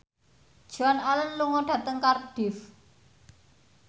Joan Allen lunga dhateng Cardiff